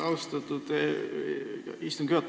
Austatud istungi juhataja!